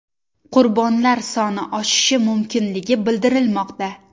Qurbonlar soni oshishi mumkinligi bildirilmoqda.